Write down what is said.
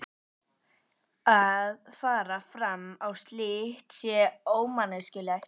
Að fara fram á slíkt sé ómanneskjulegt.